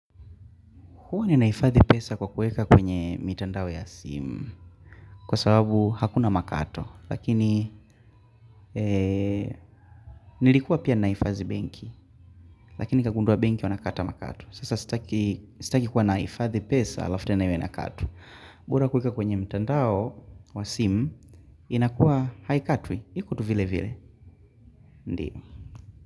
Huwa ni naifadhi pesa kwa kuweka kwenye mitandao ya simu kwa sababu hakuna makato lakini nilikuwa pia naifadhi benki lakini nikagundwa benki wanakata makato. Sasa sitaki kuwa naifadhi pesa alafutena yuena katwa. Mbora kuweka kwenye mtandao wa simu inakuwa haikatwi. Iko tu vile vile. Ndiyo.